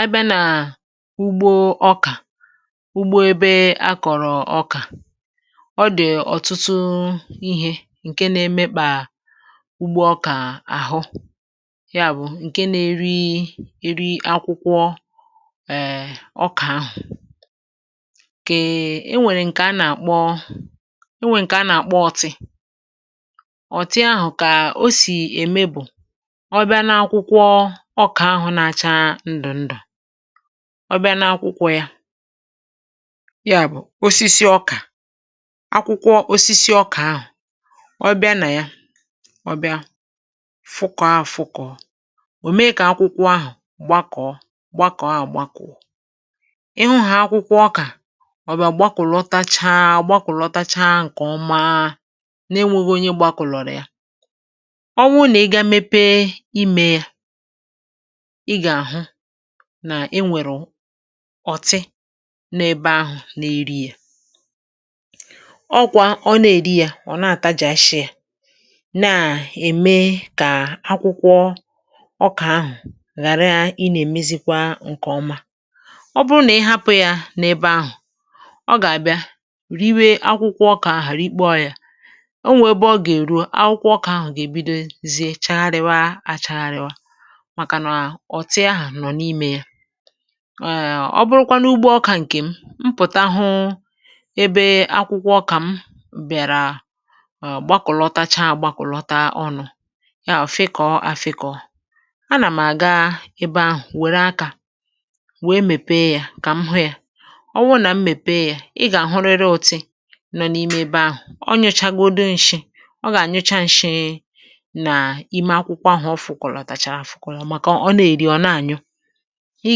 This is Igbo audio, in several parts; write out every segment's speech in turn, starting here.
À bịa n’úgbò ọ̀kà, úgbò ebe a kọ̀rọ̀ ọ̀kà, ọ dị̀ ọ̀tụtụ ihe nke na-emekpà úgbò ọ̀kà ahụ̀. Yà bụ̀ nke na-eri eri akwụkwọ ọ̀kà ahụ̀. Kà e nwèrè nke a nà-àkpọ. E nwèrè nke a nà-àkpọ ọ̀tị̄.Ọ̀tị̄ ahụ̀ kà ó sì ème bụ̀: ọ̀ bịa n’akwụkwọ, ọ̀ bịa n’akwụkwọ ya, yà bụ̀ osisi ọ̀kà. Akwụkwọ osisi ọ̀kà ahụ̀, ọ̀ bịa nà ya, ọ̀ bịa fụkọ̀, ahụ̀ fụkọ̀ òmèí kà akwụkwọ ahụ̀ gbakọ̀ gbakọ̀, ahụ̀ gbakọ̀. Ị hụ̀ ha, akwụkwọ ọ̀kà, ọ̀ bịa gbakọ̀lọtachaa gbakọ̀lọtachaa. Nke ọma nà-ènwèghị onye gbakọ̀lọ̀rọ̀ ya, ọ̀tị̄ n’ebe ahụ̀ n’èrí ya. Ọ̀kwà, ọ̀ nà-èri ya, ọ̀ na-àtà jì, ashị̄ ya na-èmè kà akwụkwọ ọ̀kà ahụ̀ ghàrà í na-èmezikwa nke ọma.Ọ̀ bụrụ̀ nà ị̀ hapụ̀ ya n’ebe ahụ̀, ọ̀ gà-àbịa riwe akwụkwọ ọ̀kà ahụ̀. Hàrịkpọ̀ ya, ó nwè ebe ọ̀ gà-èru, akwụkwọ ọ̀kà ahụ̀ gà-èbìdozie, chagharịwa achagharịwa. Èe, ọ̀ bụrụ́kwanụ úgbò ọ̀kà nke m. Mpụ̀tà hụ̀ ebe akwụkwọ ọ̀kà m bị̀àrà, gbakọ̀lọtachaa, gbakwàlọta ọnụ ya, ọ̀ fịkọ̀ afịkọ̀. À nà m̀ àga ebe ahụ̀, wèrè aka wéé mepé ya, kà m hòó ya. Ọ wụ̀ nà m mepé ya, ị̀ gà-àhụrịrị òtù nọ n’ime ebe ahụ̀. Ọ̀ nụ́chágòdù nshị̄, ọ̀ gà-ànụchá nshị̄ī nà íme akwụkwọ ahụ̀. Ọ̀ fụ̀kwàlàtàchàrà afụ̀kwụ̀là, màkà ọ̀ na-èri, ọ̀ na-ànyụ́. Ị̀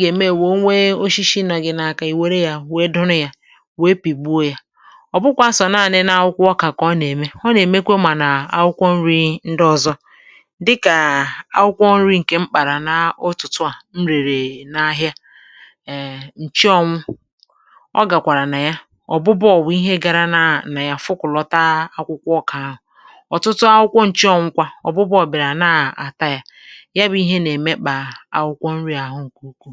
gà-ème, wéé onwe, oshishi nà gị n’aka, ì wèrè ya, wéé dùrè ya, wéé pìgbuo ya.Ọ̀ bụ́kwa asọ̀, nanị̄ nà akwụkwọ ọ̀kà kà ọ̀ nà-èmè. Ọ̀ nà-èmekwà, mà nà akwụkwọ nrī ndị ọzọ dịkà akwụkwọ nrī nke mkpàrà. N’òtùtù à nrị̀rì n’ahịa, èe, nchí ọ̀wụ̀ ọ̀ gà-kwàrà nà ya. Ọ̀bụ̀bụ̀ọ̀ bụ̀ ihe gara nà ya, fụ̀kọ̀lọta akwụkwọ ọ̀kà ahụ̀ ọ̀tụtụ akwụkwọ. Nchí ọ̀wụ̀kwa ọ̀bụ̀bụ̀ọ̀ bìrà nà-àtà ya, ànàr ùkwù.